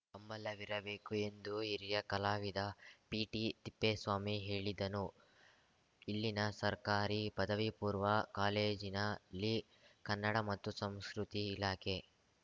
ಹಂಬಲವಿರಬೇಕು ಎಂದು ಹಿರಿಯ ಕಲಾವಿದ ಪಿಟಿ ತಿಪ್ಪೇಸ್ವಾಮಿ ಹೇಳಿದನು ಇಲ್ಲಿನ ಸರ್ಕಾರಿ ಪದವಿಪೂರ್ವ ಕಾಲೇಜಿನಲ್ಲಿ ಕನ್ನಡ ಮತ್ತು ಸಂಸ್ಕೃತಿ ಇಲಾಖೆ